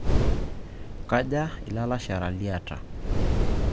Kaja ilalashara liata?